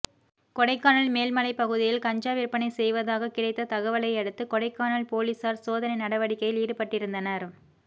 கொடைக்கானல் மேல்மலை பகுதியில் கஞ்சா விற்பனை செய்வதாக கிடைத்த தகவலையடுத்து கொடைக்கானல் போலீசாா் சோதனை நடவடிக்கையில் ஈடுபட்டிருந்தனா்